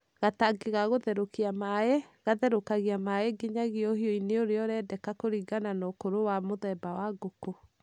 Gatangi ga gũtherũkĩria maaĩ: Gatherũkagia maaĩ nginyagia ũhiũhu-inĩ ũrĩa ũrendeka kũringana na ũkũrũ na mũthemba wa ngũkũ.